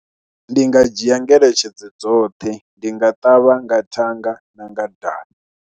Ndi nga dzhia ngeletshedzo dzoṱhe, ndi nga ṱavha nga thanga na nga dali.